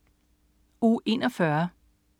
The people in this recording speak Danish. Uge 41